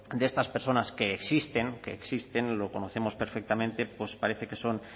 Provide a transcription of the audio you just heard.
de estas personas que existen que existen lo conocemos perfectamente pues parece que son